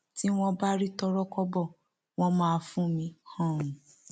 tí wọn bá rí tọrọkọbọ wọn máa fún mi um